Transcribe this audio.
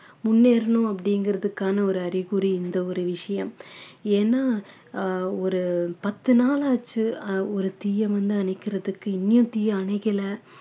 முன்னேறணும் அப்படிங்கறதுக்கான ஒரு அறிகுறி இந்த ஒரு விஷயம் ஏன்னா ஆஹ் ஒரு பத்து நாள் ஆச்சு ஆஹ் ஒரு தீய வந்து அணைக்கிறதுக்கு இனியும் தீய அணைக்கல